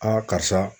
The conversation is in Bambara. karisa